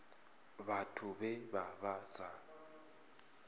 vhathu vhe vha vha sa